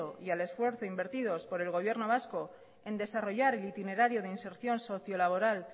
y al esfuerzo invertido por el gobierno vasco en desarrollar el itinerario de inserción socio laboral